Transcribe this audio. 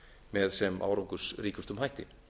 með sem árangursríkustum hætti